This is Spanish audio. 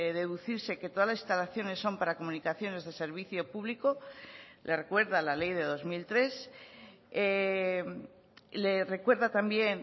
deducirse que todas las instalaciones son para comunicaciones de servicio público le recuerda la ley de dos mil tres le recuerda también